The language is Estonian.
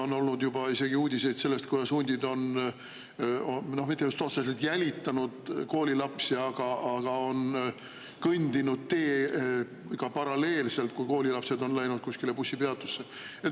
On olnud juba uudiseid isegi sellest, kuidas hundid on mitte just otseselt jälitanud koolilapsi, aga kõndinud teega paralleelselt, kui koolilapsed on läinud bussipeatusse.